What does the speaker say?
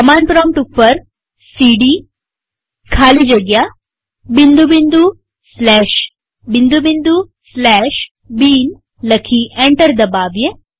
command prompt ઉપર CD ખાલી જગ્યા bin લખી અને એન્ટર દબાવીએ